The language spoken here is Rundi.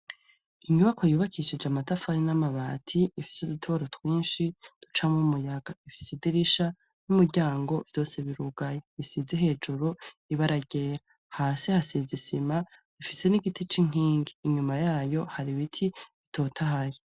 Inyubako yubakishije amatafari n'amabati ifise udutobro twinshi ducamwo umuyaga, ifise idirisha n'umuryango vyose birugaye bisize hejuru ibaragera, hasi hasiza isima ifise n'igiti c'inkingi inyuma yayo hari ibiti bitotahahe.